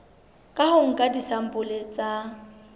ka ho nka disampole tsa